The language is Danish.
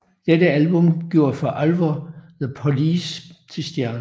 Dette album gjorde for alvor The Police til stjerner